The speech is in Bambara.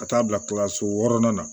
Ka taa bila kalanso wɔɔrɔnan na